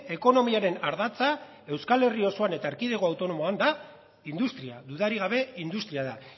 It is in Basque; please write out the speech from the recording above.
ekonomiaren ardatza euskal herria osoan eta erkidego autonomoan da industria dudarik gabe industria da